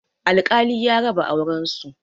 Alkali ya raba auren su